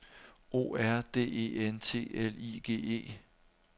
O R D E N T L I G E